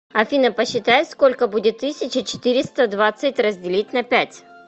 афина посчитай сколько будет тысяча четыреста двадцать разделить на пять